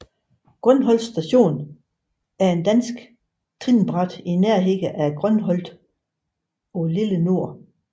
Grønholt Station er et dansk trinbræt i nærheden af Grønholt på Lille Nord